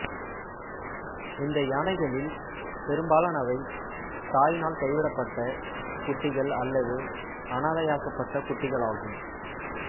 இந்த யானைகளில் பெரும்பாலானவை தாயினால் கைவிடப்பட்ட குட்டிகள் அல்லது அனாதையாக்கப்பட்ட குட்டிகளாகும்